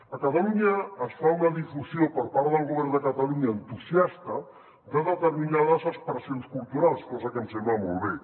a catalunya es fa una difusió per part del govern de catalunya entusiasta de determinades expressions culturals cosa que em sembla molt bé